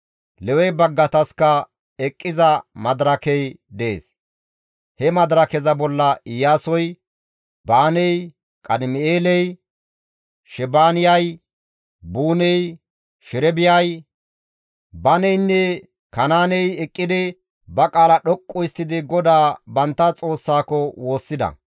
Lewe baggataska eqqiza madirakey dees; he madirakeza bolla Iyaasoy, Baaney, Qadim7eeley, Shebaaniyay, Buuney, Sherebiyay, Baneynne Kanaaney eqqidi ba qaala dhoqqu histtidi GODAA bantta Xoossako woossida.